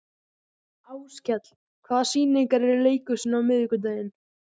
Áskell, hvaða sýningar eru í leikhúsinu á miðvikudaginn?